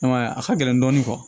I m'a ye a ka gɛlɛn dɔɔnin